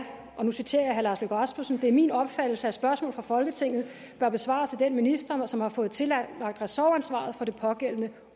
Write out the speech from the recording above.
og nu citerer jeg herre lars løkke rasmussen det er min opfattelse at spørgsmål fra folketinget bør besvares af den minister som har fået tillagt ressortansvaret for det pågældende